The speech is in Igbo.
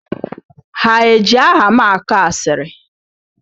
Ha eji aha m akọ asịrị?